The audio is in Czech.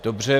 Dobře.